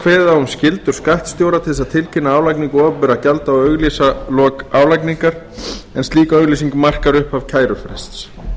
kveðið á um skyldur skattstjóra til að tilkynna álagningu opinberra gjalda og auglýsa lok álagningar en slík auglýsing markar upphaf kærufrests